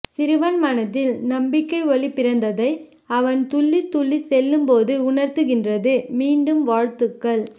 சிறுவன் மனதில் நம்பிக்கை ஒளி பிறந்ததை அவன் துள்ளி துள்ளி செல்லும் போது உணர்துகின்றது மீண்டும் வாழ்த்துக்கள்